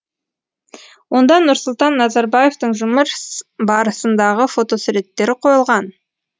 онда нұрсұлтан назарбаевтың жұмыс барысындағы фотосуреттері қойылған